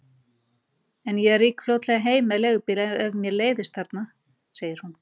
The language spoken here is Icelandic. En ég rýk fljótlega heim með leigubíl ef mér leiðist þarna, segir hún.